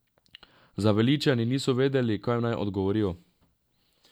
Zaveličani niso vedeli, kaj naj odgovorijo.